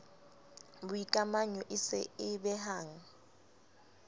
boikamanyo e se e behang